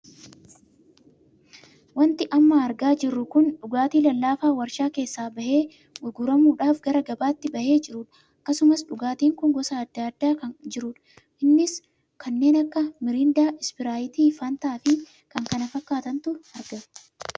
Wanti amma argaa jirru kun dhugaatii lallaafaa warshaa keessa bahee gurguramuudhaaf gara gabaatti bahee jiruudha. akkasumas dhugaatiin kun gosa addaa addaan kan jirudha. innis kanneen akka miriindaa, spirayitii, fantaa fi kan kana fakkaatantu argamaa jira.